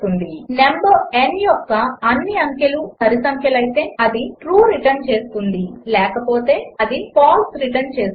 number n యొక్క అన్ని అంకెలు సరిసంఖ్యలయితే అది ట్రూ రిటర్న్ చేస్తుంది లేకపోతే అది ఫాల్స్ రిటర్న్ చేస్తుంది